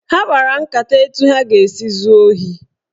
Ha kpara nkata etu ha ga-esi zuo ohi.